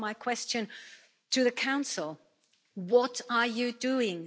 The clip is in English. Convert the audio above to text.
Therefore my question to the Council what are you doing?